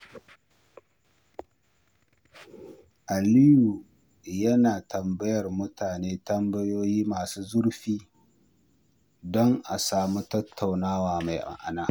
Aliyu yana tambayar mutane tambayoyi masu zurfi don a samu tattaunawa mai ma’ana.